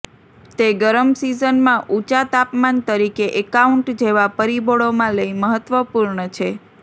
તે ગરમ સિઝનમાં ઊંચા તાપમાન તરીકે એકાઉન્ટ જેવા પરિબળો માં લઇ મહત્વપૂર્ણ છે